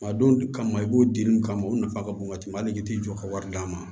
A don kama i b'o di mun kama o nafa ka bon ka tɛmɛ hali i t'i jɔ ka wari d'a ma